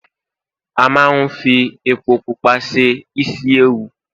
a ma n fi epo pupa se isi ẹwù